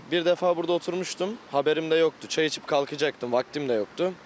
Əh, bir dəfə burda oturmuşdum, xəbərim də yoxdu, çay içib qalxacaqdım, vaxtım da yoxdu.